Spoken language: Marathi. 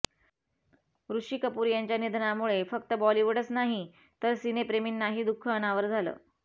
ऋषी कपूर यांच्या निधनामुळे फक्त बॉलिवूडच नाही तर सिनेप्रेमींनाही दुःख अनावर झालं